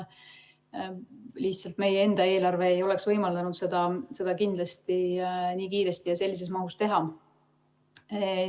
Lihtsalt meie enda eelarve ei oleks võimaldanud seda kindlasti nii kiiresti ja sellises mahus teha.